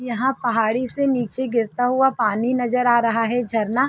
यहाँ पहाड़ी से नीचे गिरता हुआ पानी नजर आ रहा है झरना।